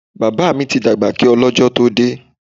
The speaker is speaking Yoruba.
Bàbá mi ti dàgbà kí ọ lọ́jọ́ tó dé.